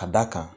Ka da kan